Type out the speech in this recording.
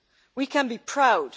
We can be proud.